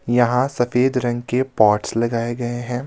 यहां सफेद रंग के पॉट्स लगाए गए हैं.